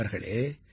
நண்பர்களே